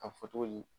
A fɔ cogo di